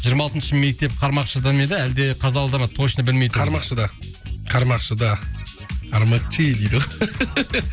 жиырма алтыншы мектеп қармақшыда ма еді әлде қазалыда ма точно білмей тұрмын қармақшыда қармақшыда кармакчи дейді ғой